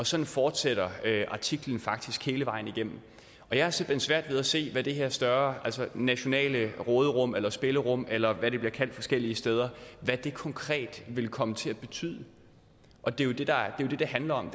sådan fortsætter artiklen faktisk hele vejen igennem og jeg har simpelt hen svært ved at se hvad det her større nationale råderum eller spillerum eller hvad det bliver kaldt forskellige steder konkret vil komme til at betyde og det er jo det det handler om